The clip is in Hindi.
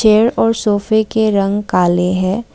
चेयर और सोफे के रंग काले हैं।